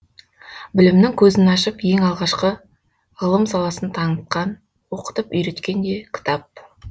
білімнің көзін ашып ең алғашқы ғылым саласын таңытқан оқытып үйреткен де кітап